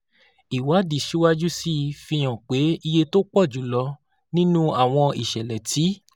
Ìwádìí síwájú sí i fi hàn pé iye tó pọ̀ jù lọ nínú àwọn ìṣẹ̀lẹ̀ tí